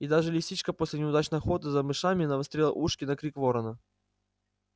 и даже лисичка после неудачной охоты за мышами навострила ушки на крик ворона